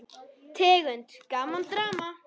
Tegund: Gaman, Drama